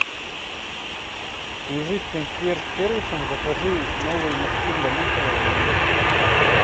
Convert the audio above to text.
свяжись с консьерж сервисом закажи новые мешки для мусора в номер